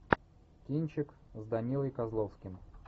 кинчик с данилой козловским